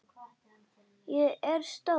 Ég er stór.